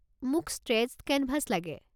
মোক stretched canvas লাগে।